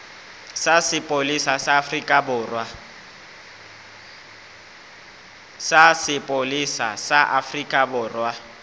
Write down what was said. sa sepolesa sa afrika borwa